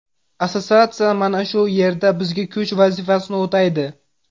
Assotsiatsiya mana shu yerda bizga kuch vazifasini o‘taydi.